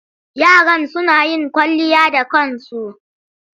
Yaron suna yin kwalliya da kansu.